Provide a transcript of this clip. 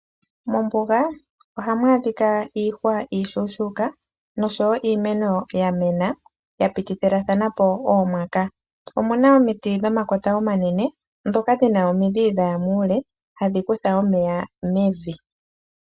Mombunga ohamu adhika iihwa iishona nosho woo iimeno yamena yapitithathanapo oomwaka, omuna omiti dhomakota omanene ndhoka dhina omidhi dhaya muule hadhi kutha omeya mevi.